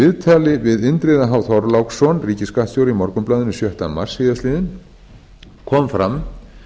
í viðtali við indriða h þorláksson ríkisskattstjóra í morgunblaðinu sjötta mars síðastliðinn kom fram